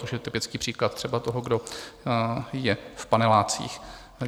Což je typický příklad třeba toho, kdo je v panelácích.